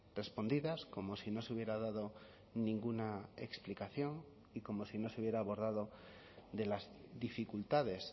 respondidas como si no se hubiera dado ninguna explicación y como si no se hubiera abordado de las dificultades